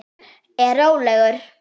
Er róleg.